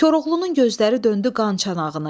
Koroğlunun gözləri döndü qançanağını.